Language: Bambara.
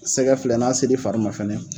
Sɛgɛ filɛ n'a se l'i fari ma fana.